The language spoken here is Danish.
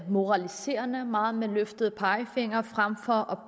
moraliserende meget med løftet pegefinger frem for